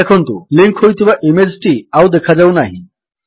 ଦେଖନ୍ତୁ ଲିଙ୍କ୍ ହୋଇଥିବା ଇମେଜ୍ ଟି ଆଉ ଦେଖାଯାଉନାହିଁ